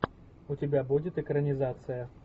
у тебя будет экранизация